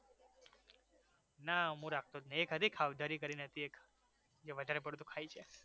ના મુ રાખતો જ નહિ એક હતી ખાઉધરી કરીને હતી એક જે વધારે પડતુ ખાઈ જાય